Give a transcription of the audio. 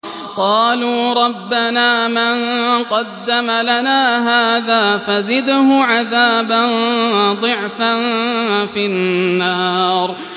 قَالُوا رَبَّنَا مَن قَدَّمَ لَنَا هَٰذَا فَزِدْهُ عَذَابًا ضِعْفًا فِي النَّارِ